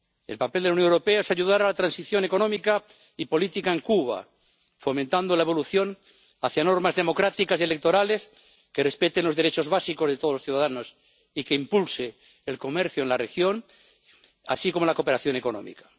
El papel de la Unión Europea es ayudar a la transición económica y política en Cuba, fomentando la evolución hacia normas democráticas y electorales que respeten los derechos básicos de todos los ciudadanos y que impulsen el comercio en la región, así como la cooperación económica.